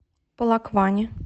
полокване